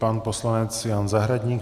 Pan poslanec Jan Zahradník.